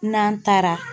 N'an taara